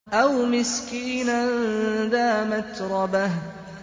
أَوْ مِسْكِينًا ذَا مَتْرَبَةٍ